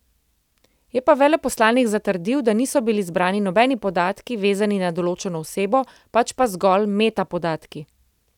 Je pa veleposlanik zatrdil, da niso bili zbrani nobeni podatki, vezani na določeno osebo, pač pa zgolj metapodatki.